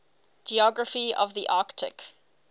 geography of the arctic